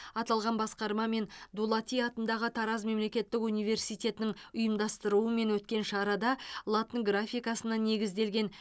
аталған басқарма мен дулати атындағы тараз мемлекеттік университетінің ұйымдастыруымен өткен шарада латын графикасына негізделген